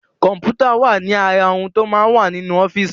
Kọ̀m̀pútà wà ní ara ohun tó máa ń wà ní ọ́fíìsì.